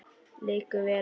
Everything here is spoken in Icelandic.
Liggur vel á þér?